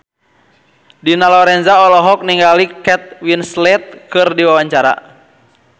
Dina Lorenza olohok ningali Kate Winslet keur diwawancara